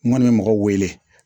N kɔni bɛ mɔgɔ wele